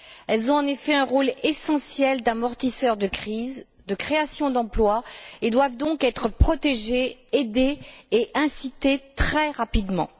Elles ont en effet un rôle essentiel d'amortisseur de crise, de création d'emplois et doivent donc être protégées, aidées et incitées très rapidement.